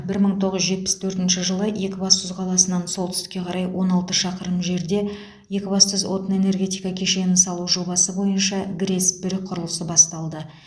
бір мың тоғыз жүз жетпіс төртінші жылы екібастұз қаласынан солтүстікке қарай он алты шақырым жерде екібастұз отын энергетика кешенін салу жобасы бойынша грэс бір құрылысы басталды